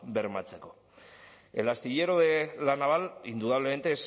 bermatzeko el astillero la naval indudablemente